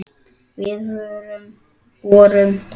Við vorum blómin þín.